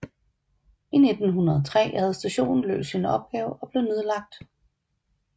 I 1903 havde stationen løst sin opgave og blev nedlagt